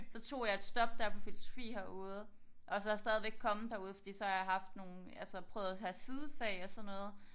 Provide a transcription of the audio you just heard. Så tog jeg et stop dér på filosofi herude og så stadigvæk kommet derude fordi så har jeg haft nogle altså prøvet at have sidefag og sådan noget